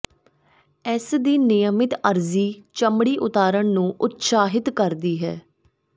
ਇਸ ਦੀ ਨਿਯਮਿਤ ਅਰਜ਼ੀ ਚਮੜੀ ਉਤਾਰਨ ਨੂੰ ਉਤਸ਼ਾਹਿਤ ਕਰਦੀ ਹੈ